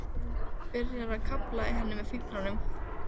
Byrjar að krafla í henni með fingrunum.